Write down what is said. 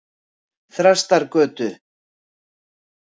Þrastargötu